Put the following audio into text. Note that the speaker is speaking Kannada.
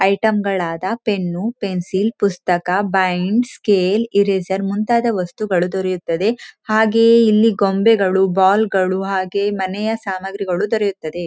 ಐಟಮ್ ಗಳಾದ ಪೆನ್ನು ಪೆನ್ಸಿಲ್ ಪುಸ್ತಕ ಬೈಂಡ್ ಸ್ಕೇಲ್ ಇರೇಸರ್ ಮುಂತಾದ ವಸ್ತುಗಳು ದೊರೆಯುತ್ತದೆ ಹಾಗೆಯೇ ಇಲ್ಲಿ ಗೊಂಬೆಗಳು ಬಾಲ್ ಗಳು ಹಾಗೇ ಮನೆಯ ಸಾಮಗ್ರಿಗಳು ದೊರೆಯುತ್ತದೆ.